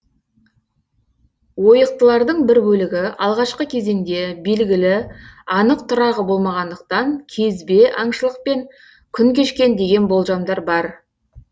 ойықтылардың бір бөлігі алғашқы кезеңде белгілі анық тұрағы болмағандықтан кезбе аңшылықпен күн кешкен деген болжамдар бар